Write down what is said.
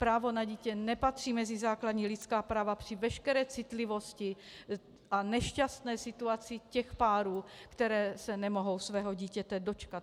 Právo na dítě nepatří mezi základní lidská práva, při veškeré citlivosti a nešťastné situaci těch párů, které se nemohou svého dítěte dočkat.